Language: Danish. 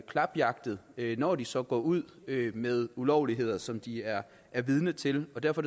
klapjagtet når de så går ud med ulovligheder som de er er vidne til derfor